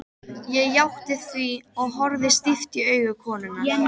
Ég játti því, horfði stíft í augu konunnar.